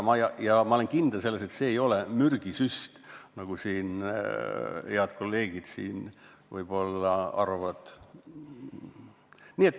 Ja ma olen kindel, et see ei ole mürgisüst, nagu head kolleegid siin võib-olla arvavad.